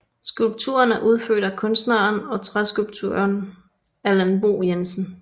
Skulpturen er udført af kunstneren og træskulptøren Allan Bo Jensen